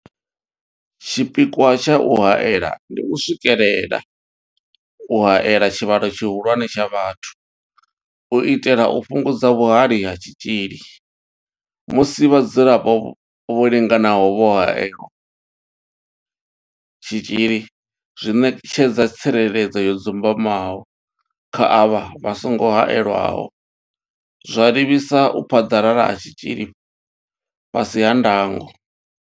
Tshipikwa tsha u haela ndi u swikelela u haela tshivhalo tshihulwane tsha vhathu u itela u fhungudza vhuhali ha tshitzhili musi vhadzulapo vho linganaho vho haelelwa tshitzhili zwi ṋetshedza tsireledzo yo dzumbamaho kha avha vha songo haelwaho, zwa livhisa u phaḓalala ha tshitzhili fhasi ha ndango.